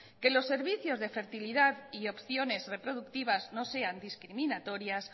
que los servicios de fertilidad y opciones reproductivas no sean discriminatorias